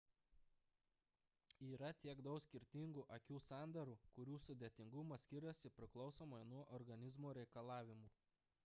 yra tiek daug skirtingų akių sandarų kurių sudėtingumas skiriasi priklausomai nuo organizmo reikalavimų